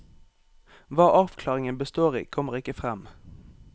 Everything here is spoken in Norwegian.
Hva avklaringen består i, kommer ikke frem.